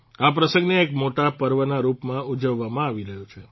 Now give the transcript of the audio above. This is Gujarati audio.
આ પ્રસંગને એક મોટા પર્વના રૂપમાં ઉજવવામાં આવી રહ્યો છે